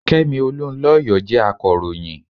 Kẹ́mi Olunlọyọ jẹ́ akọ̀ròyìn.